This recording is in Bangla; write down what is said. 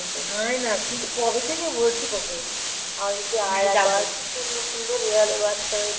আয় না. কিন্তু কবে থেকে বলছি তোকে. আমি বলছি আয়. আবার কি সুন্দর সুন্দর বেড়ালের বাচ্চা হয়েছে.